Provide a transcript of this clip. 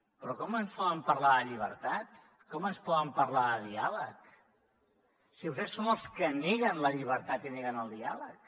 però com ens poden parlar de llibertat com ens poden parlar de diàleg si vostès són els que neguen la llibertat i neguen el diàleg